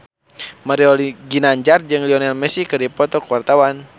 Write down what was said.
Mario Ginanjar jeung Lionel Messi keur dipoto ku wartawan